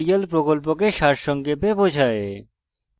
এটি কথ্য tutorial প্রকল্পকে সারসংক্ষেপে বোঝায়